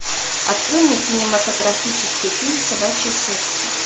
открой мне кинематографический фильм собачье сердце